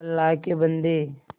अल्लाह के बन्दे